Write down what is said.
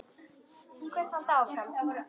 Til hvers að halda áfram?